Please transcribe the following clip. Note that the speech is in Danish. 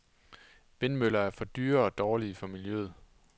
Vindmøller for dyre og dårlige for miljøet.